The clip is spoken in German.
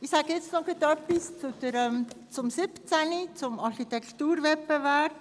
Ich äussere mich noch gleich zum Traktandum 17, zum Architekturwettbewerb: